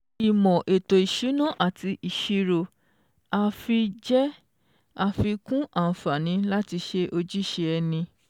Ìmò ètò ìsúná ati ìṣírò àfi jẹ́ afíkún àǹfààní láti ṣe ojúṣe ẹni